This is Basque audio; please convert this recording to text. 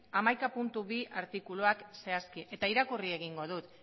hamaika puntu bi artikuluak zehazki eta irakurri egingo dut